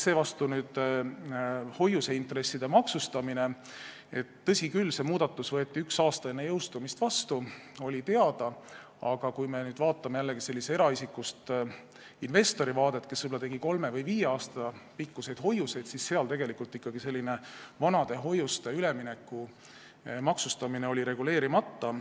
Seevastu hoiuseintresside maksustamise otsus võeti, tõsi küll, üks aasta enne jõustumist vastu, see oli teada, aga kui me vaatame jällegi eraisikust investori seisukohast, kes oli võib-olla avanud kolme või viie aasta pikkusi hoiuseid, siis tegelikult näeme, et ikkagi selline vanade hoiuste ülemineku maksustamine oli reguleerimata.